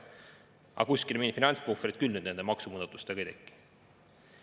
Aga kuskil mingit finantspuhvrit küll nüüd nende maksumuudatustega ei teki.